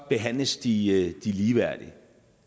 behandles de ligeværdigt